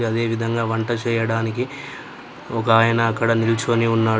అదేవిధంగా వంట చేయడానికి ఒక ఆయన అక్కడ నిల్చుకొని ఉన్నాడు.